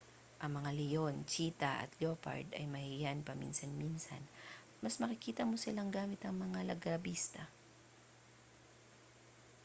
ang mga leon cheetah at leopard ay mahiyain paminsan-minsan at mas makikita mo sila gamit ang mga largabista